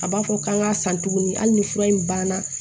A b'a fɔ k'an k'a san tuguni hali ni fura in ban na